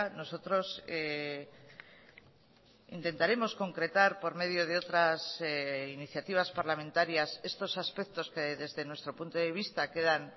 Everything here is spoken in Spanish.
nosotros intentaremos concretar por medio de otras iniciativas parlamentarias estos aspectos que desde nuestro punto de vista quedan